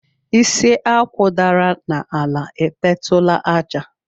Isi Akwụ dara n'ala, edetụla àjà.